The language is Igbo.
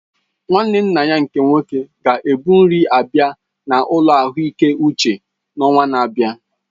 Nwanne nna ya nke nwoke ga ebu nri abịa na ụlọ ahụike uche n'ọnwa na-abịa